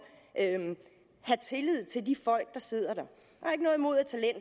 have tillid til de folk der sidder der